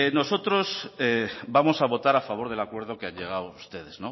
nosotros vamos a votar a favor del acuerdo que han llegado ustedes